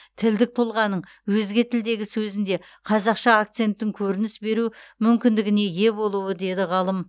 тілдік тұлғаның өзге тілдегі сөзінде қазақша акценттің көрініс беру мүмкіндігіне ие болуы деді ғалым